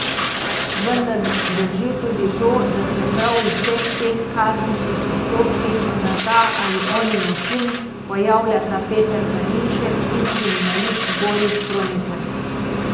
Vendar drži tudi to, da se prav v vseh teh kazenskih postopkih na ta ali oni način pojavljata Peter Planinšek in kriminalist Boris Kroneker.